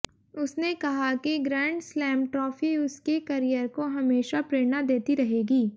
उसने कहा कि ग्रैंड स्लैम ट्राफी उसके करियर को हमेशा प्रेरणा देती रहेगी